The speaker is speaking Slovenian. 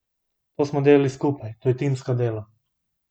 To smo delali skupaj, to je timsko delo.